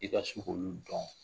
I ka se k'olu dɔn.